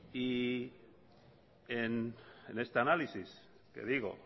y este análisis que digo